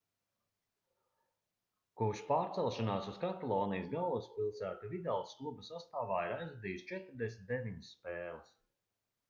kopš pārcelšanās uz katalonijas galvaspilsētu vidals kluba sastāvā ir aizvadījis 49 spēles